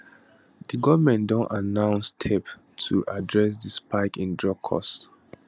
di goment don announce steps to address di spike in drug costs